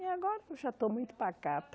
E agora eu já estou muito pacata.